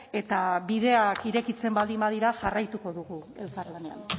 eta bideak irekitzen baldin badira jarraituko dugu elkarlanean